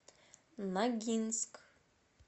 ногинск